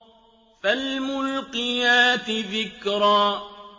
فَالْمُلْقِيَاتِ ذِكْرًا